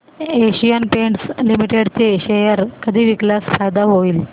Asian Paints Limited चे share कधी विकल्यास फायदा होईल